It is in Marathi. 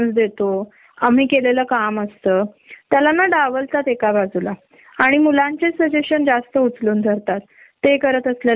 आम्ही जे क्रीएटिव्ह इनपुट देतो ते डीसकस च्या वेळी आपसात होतात पण जेव्हा पण जेव्हा फायनल प्रेसेंटेशन लागत तेव्हा ते इनपुट असून नसल्यासारखे असतात